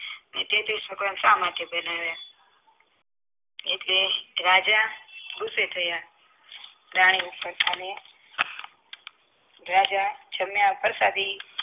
શા માટે પેહનવ્ય એટલે રાજા ગુસ્સે થયા રાણી ઉપર અને રાજા જમ્યા પરસાદી